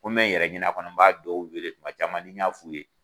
Ko n be n yɛrɛ ɲini a kɔnɔ n b'a dɔw wele kuma caman ni y'a f'u ye